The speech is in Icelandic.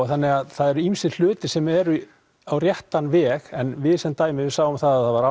þannig að það eru ýmsir hlutir sem eru á réttan veg en við sem dæmi við sáum að það var